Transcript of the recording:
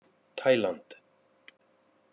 Taíland